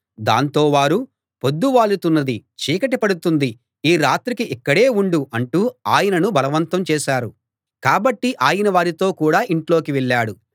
దాంతో వారు పొద్దు వాలుతున్నది చీకటి పడుతుంది ఈ రాత్రికి ఇక్కడే ఉండు అంటూ ఆయనను బలవంతం చేశారు కాబట్టి ఆయన వారితో కూడా ఇంట్లోకి వెళ్ళాడు